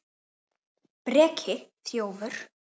Breki: Þjófur?